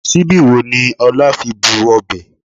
Síbí wo ni Ọlá fi bu ọbẹ̀?